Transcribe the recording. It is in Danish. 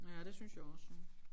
Ja det synes jeg også ja